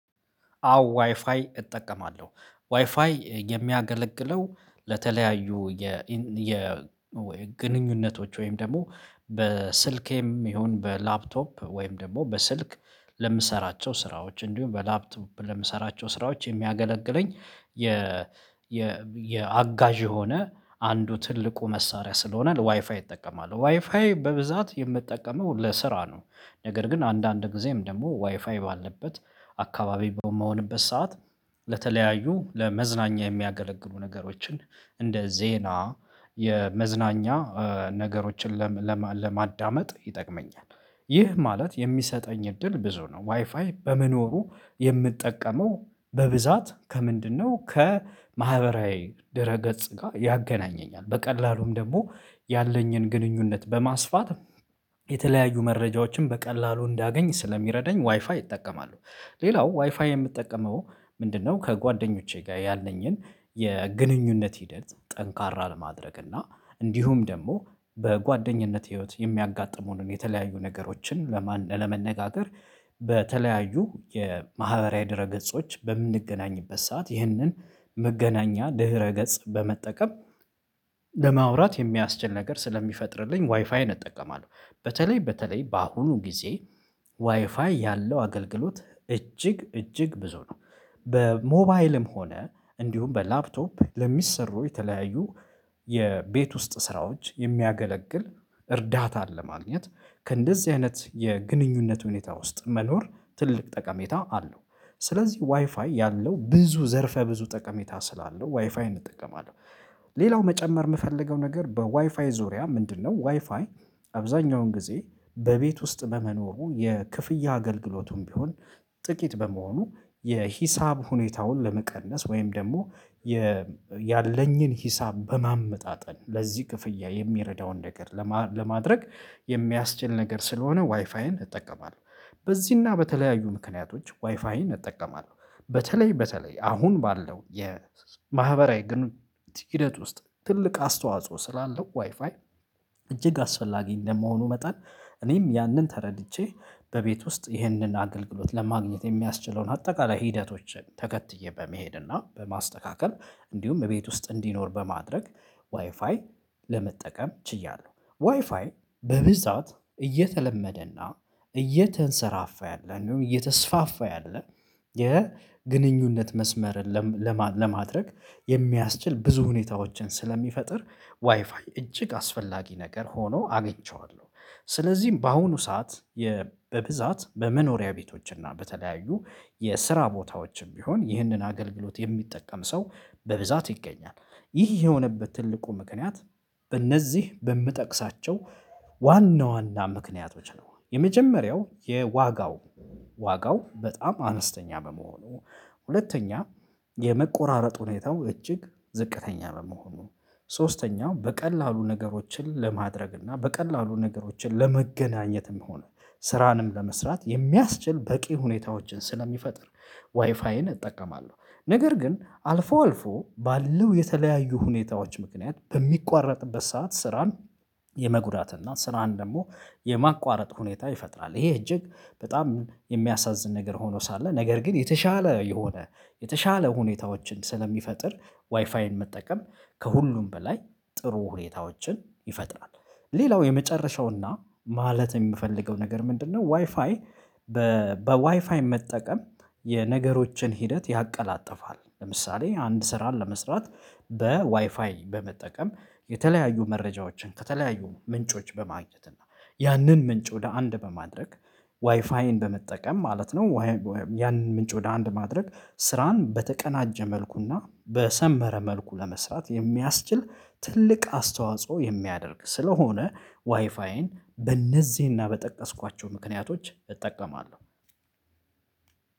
አዎ ዋይፋይ እጠቀማለሁ ዋይፋይ የሚያገለግለው ለተለያዩ የ ወይ ግንኙነቶች ወይም ደግሞ በስልኬም ይሁን በላፕቶፕ ወይም ደግሞ በስልክ ለምሰራቸው ስራዎች እንዲሁም በላፕቶፕ ለምሰራቸው ስራዎች የሚያገለግለኝ የ የ የአጋዥ የሆነ አንዱ ትልቁ መሳሪያ ስለሆነ ዋይፋይ ይጠቀማሉ ዋይፋይ በብዛት የምጠቀመው ለስራ ነው። ነገር ግን አንዳንድ ጊዜም ደግሞ ዋይፋይ ባለበት አካባቢ በምሆንበት ሰዓት ለተለያዩ ለመዝናኛ የሚያገለግሉ ነገሮችን እንደ ዜና የመዝናኛ ነገሮችን ለማዳመጥ ይጠቅመኛል ይህ ማለት የሚሰጠኝ እድል ብዙ ነው ዋይፋይ በመኖሩ የምጠቀመው በብዛት ከምንድነው ከማህበራዊ ድረ ገጽ ጋር ያገናኘኛል በቀላሉም ደግሞ ያለኝን ግንኙነት በማስፋት የተለያዩ መረጃዎችን በቀላሉ እንዳገኝ ስለሚረዳኝ ዋይፋይ ይጠቀማሉ። ሌላው ዋይፋይ የምጠቀመው ምንድነው ከጓደኞቼ ጋር ያለኝን የግንኙነት ሂደት ጠንካራ ለማድረግ እና እንዲሁም ደግሞ በጓደኝነት ህይወት የሚያጋጥሙንን የተለያዩ ነገሮችን ለመነጋገር በተለያዩ የማህበራዊ ድረ ገጾች በምንገናኝበት ሰዓት ይህንን መገናኛ ድህረ ገጽ በመጠቀም ለማውራት የሚያስችል ነገር ስለሚፈጥርልኝ ዋይፋይን እጠቀማለሁ። በተለይ በተለይ በአሁኑ ጊዜ ዋይፋይ ያለው አገልግሎት እጅግ እጅግ ብዙ ነው በሞባይልም ሆነ እንዲሁም በላፕቶፕ ለሚሰሩ የተለያዩ የቤት ውስጥ ስራዎች የሚያገለግል እርዳታ አለ ማግኘት ከእንደዚህ አይነት የግንኙነት ሁኔታ ውስጥ መኖር ትልቅ ጠቀሜታ አለው ስለዚህ ዋይፋይ ያለው ብዙ ዘርፈ ብዙ ጠቀሜታ ስላለው ዋይፋይ እጠቀማለሁ። ሌላው መጨመር የምፈልገው ነገር በዋይፋይ ዙሪያ ምንድነው ዋይፋይ አብዛኛውን ጊዜ በቤት ውስጥ በመኖሩ የክፍያ አገልግሎቱም ቢሆን ጥቂት በመሆኑ የሂሳብ ሁኔታውን ለመቀነስ ወይም ደግሞ ያለኝን ሂሳብ በማመጣጠን ለዚህ ክፍያ የሚረዳውን ነገር ለማድረግ የሚያስችል ነገር ስለሆነ ዋይፋይን እጠቀማለሁ። በዚህና በተለያዩ ምክንያቶች ዋይፋይን እጠቀማለሁ በተለይ በተለይ አሁን ባለው የማህበራዊ ግን ሂደት ውስጥ ትልቅ አስተዋጽኦ ስላለው ዋይፋይ እጅግ አስፈላጊ እንደመሆኑ መጠን እኔም ያንን ተረድቼ በቤት ውስጥ ይህንን አገልግሎት ለማግኘት የሚያስችለውን አጠቃላይ ሂደቶችን ተከትዬ በመሄድ እና በማስተካከል እንዲሁም እቤት ውስጥ እንዲኖር በማድረግ ዋይፋይ ለመጠቀም ችያለሁ ዋይፋይ በብዛት እየተለመደና እየተንሰራፋ ያለን እንደውም እየተስፋፋ ያለ የግንኙነት መስመርን ለማድረግ የሚያስችል ብዙ ሁኔታዎችን ስለሚፈጥር ዋይፋይ እጅግ አስፈላጊ ነገር ሆኖ አግኝቼዋለሁ። ስለዚህም በአሁኑ ሰዓት በብዛት በመኖሪያ ቤቶች እና በተለያዩ የስራ ቦታዎችም ቢሆን ይህንን አገልግሎት የሚጠቀም ሰው በብዛት ይገኛል። ይህ የሆነበት ትልቁ ምክንያት በእነዚህ በምጠቅሳቸው ዋና ዋና ምክንያቶች ነው የመጀመሪያው የዋጋው ዋጋው በጣም አነስተኛ በመሆኑ ሁለተኛ የመቆራረጥ ሁኔታው እጅግ ዝቅተኛ መሆኑ ሶስተኛው በቀላሉ ነገሮችን ለማድረግ እና በቀላሉ ነገሮችን ለመገናኘትም ሆነ ስራንም ለመስራት የሚያስችል በቂ ሁኔታዎችን ስለሚፈጥር ዋይፋይን እጠቀማለሁ። ነገር ግን አልፎ አልፎ ባለው የተለያዩ ሁኔታዎች ምክንያት በሚቋረጥበት ሰዓት ስራን የመጉዳት እና ስራን ደግሞ የማቋረጥ ሁኔታ ይፈጥራል ይሄ እጅግ በጣም የሚያሳዝን ነገር ሆኖ ሳለ ነገር ግን የተሻለ የሆነ የተሻለ ሁኔታዎችን ስለሚፈጥር ዋይፋይን መጠቀም ከሁሉም በላይ ጥሩ ሁኔታዎችን ይፈጥራል። ሌላው የመጨረሻውና ማለት የምፈልገው ነገር ምንድነው? ዋይፋይ በዋይፋይ መጠቀም የነገሮችን ሂደት ያቀላጥፋል ለምሳሌ አንድ ስራን ለመስራት በዋይፋይ በመጠቀም የተለያዩ መረጃዎችን ከተለያዩ ምንጮች በማግኘት እና ያንን ምንጭ ወደ አንድ በማድረግ ዋይፋይን በመጠቀም ማለት ነው። ያንን ምንጭ ወደ አንድ ማድረግ ስራን በተቀናጀ መልኩና በሰመረ መልኩ ለመስራት የሚያስችል ትልቅ አስተዋጽኦ የሚያደርግ ስለሆነ ዋይፋይን በእነዚህና በጠቀስኳቸው ምክንያቶች እጠቀማለሁ።